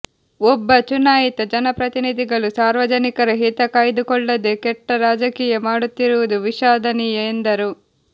ಒಬ್ಬ ಚುನಾಯಿತ ಜನಪ್ರತಿನಿಧಿಗಳು ಸಾರ್ವಜನಿಕರ ಹಿತ ಕಾಯ್ದುಕೊಳ್ಳದೆ ಕೆಟ್ಟ ರಾಜಕೀಯ ಮಾಡುತ್ತಿರುವುದು ವಿಷಾದನೀಯ ಎಂದರು